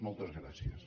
moltes gràcies